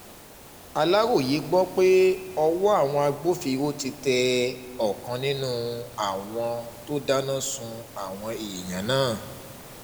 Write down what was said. aláròye gbọ́ pé ọwọ́ àwọn agbófinró ti tẹ ọ̀kan nínú àwọn tó dáná sun àwọn èèyàn náà